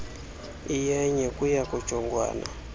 iyenye kuya kujongwana